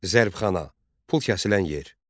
Zərbxana - pul kəsilən yer.